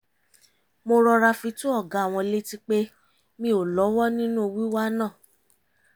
mo rọra fi tó ọ̀gá wọn létí pé mi ò lọ́wọ́ nínú wíwá náà